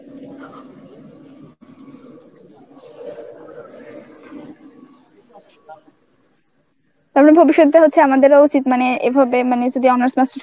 তারপর ভবিষ্যৎটা হচ্ছে আমাদেরও উচিত মানে এভাবে মানে যদি honours master's